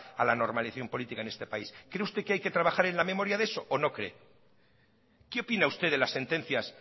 a la normalización política en este país cree usted que hay que trabajar en la memoria de eso o no cree qué opina usted de las sentencias